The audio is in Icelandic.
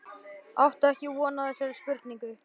Átti ekki von á þessari spurningu.